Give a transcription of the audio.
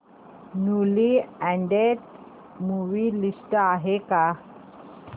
newly added movie list आहे का